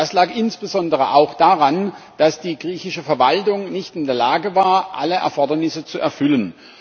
Das lag insbesondere auch daran, dass die griechische Verwaltung nicht in der Lage war, alle Erfordernisse zu erfüllen.